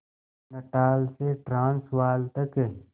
Natal से Transvaal तक